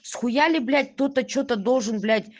схуяли блять кто-то что-то должен блять